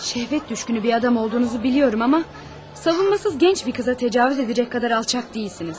Şəhvət düşkünü bir adam olduğunuzu bilirəm, amma savunsız gənc bir qıza təcavüz edəcək qədər alçaq deyilsiniz.